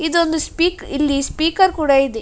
ಇದೊಂದು ಸ್ಪೀಕ್ ಇಲ್ಲಿ ಸ್ಪೀಕರ್ ಕೂಡ ಇದೆ.